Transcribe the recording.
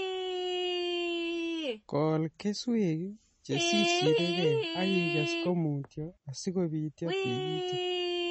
kol keswek che sirsirikei ak ikes komutyo asikobityo tikitik komye